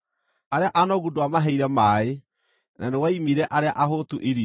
Arĩa anogu ndwamaheire maaĩ, na nĩwaimire arĩa ahũtu irio,